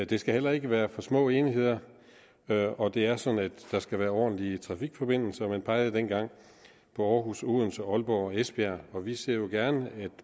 det skal heller ikke være for små enheder og det er sådan at der skal være ordentlige trafikforbindelser man pegede dengang på aarhus odense aalborg og esbjerg og vi ser jo gerne